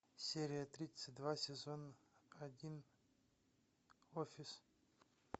серия тридцать два сезон один офис